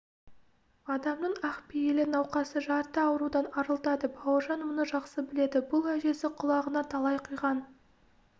адамның ақ пейілі науқасты жарты аурудан арылтады бауыржан мұны жақсы біледі бұл әжесі құлағына талай құйған